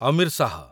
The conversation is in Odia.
ଅମୀର ଶାହ